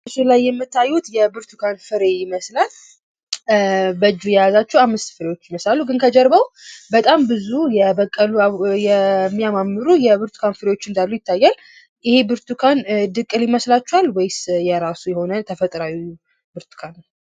በምስሉ ላይ የምታዩት የብርቱካን ፍሬ ይመስላል በእጁ የያዛቸው አምስት ፍሬዎች ይመስላሉ ግን ከጀርባው በጣም ብዙ የበቀሉ የሚያማምሩ የብርቱካን ፍሬዎች እንዳሉ ይታያል ይህም ብርቱካን ድቅል ይመስላችኋል ወይስ የራሱ የሆነ ተፈጥሮአዊ ብርቱካን ነው?